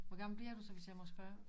Hvor gammel bliver du så hvis jeg må spørge